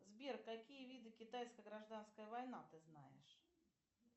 сбер какие виды китайская гражданская война ты знаешь